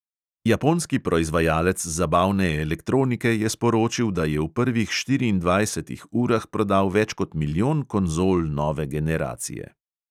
Japonski proizvajalec zabavne elektronike je sporočil, da je v prvih štiriindvajsetih urah prodal več kot milijon konzol nove generacije.